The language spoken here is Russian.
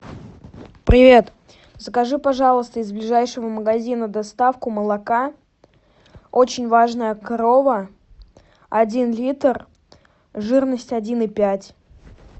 привет закажи пожалуйста из ближайшего магазина доставку молока очень важная корова один литр жирность один и пять